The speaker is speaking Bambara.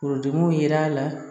Forodimi ye l'a la